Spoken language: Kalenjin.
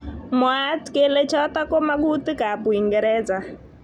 Mwaat kele chotok ko mangutik ab Uingereza.